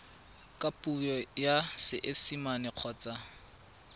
ka puo ya seesimane kgotsa